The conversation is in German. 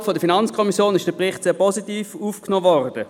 Innerhalb der FiKo ist der Bericht sehr positiv aufgenommen worden.